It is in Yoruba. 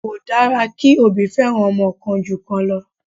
Kò dára kí òbí feran ọmọ kan ju kan lọ.